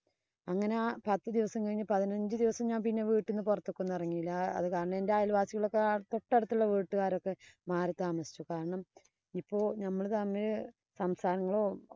അങ്ങനെ പത്ത് ദിവസം കഴിഞ്ഞു പതിനഞ്ചു ദിവസം ഞാന്‍ പിന്നെ വീട്ടീന്നു പുറത്തേക്കൊന്നും എറങ്ങിയില്ല. അത് കാരണം എന്‍റെ അയല്‍ വാസികളൊക്കെ തൊട്ടടുത്ത വീട്ടുകാരൊക്കെ മാറി താമസിച്ചു. കാരണം, ഇപ്പൊ ഞമ്മള് തമ്മീ സംസരങ്ങളോ